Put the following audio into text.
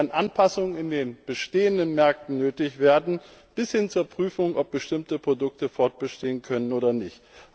Es werden Anpassungen in den bestehenden Märkten nötig werden bis hin zur Prüfung, ob bestimmte Produkte fortbestehen können oder nicht.